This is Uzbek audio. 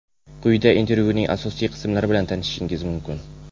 Quyida intervyuning asosiy qismlari bilan tanishishingiz mumkin.